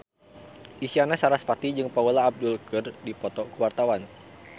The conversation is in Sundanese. Isyana Sarasvati jeung Paula Abdul keur dipoto ku wartawan